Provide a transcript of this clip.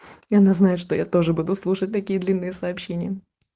и она знает что я тоже буду слушать такие длинные сообщения